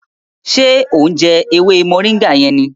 Ṣe o ń jẹ ewé moringa yẹn ní?